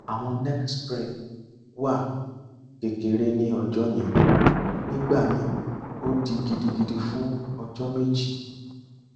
awọn neck sprain wà kekere ni ọjọ yẹn nigbamii o di gidigidi fun ọjọ meji